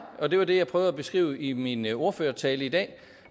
og det var det jeg prøvede at beskrive i min ordførertale i dag